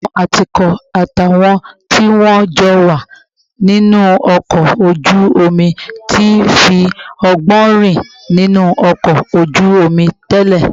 Àwọn atukọ̀ àtàwọn tí wọ́n jọ wà nínú ọkọ̀ ojú omi ti fi ọgbọ́n rìn nínú ọkọ̀ ojú omi tẹ́lẹ̀